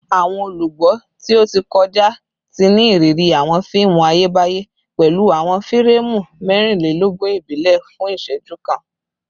Awọn olugbo ti o ti kọja ti ni iriri awọn fiimu Ayebaye pẹlu awọn fireemu mẹrinlelogun ibile fun iṣẹju kan